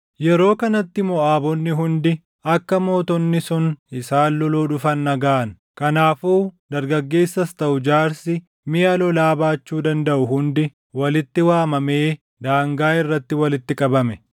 Yeroo kanatti Moʼaabonni hundi akka mootonni sun isaan loluu dhufan dhagaʼan; kanaafuu dargaggeessas taʼu jaarsi miʼa lolaa baachuu dandaʼu hundi walitti waamamee daangaa irratti walitti qabame.